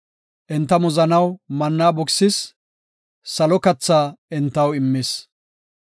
Enta muzanaw manna bukisis; salo kathaa entaw immis.